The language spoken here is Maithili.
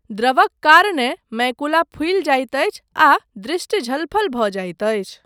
द्रवक कारणेँ मैकुला फूलि जाइत अछि आ दृष्टि झलफल भऽ जाइत अछि।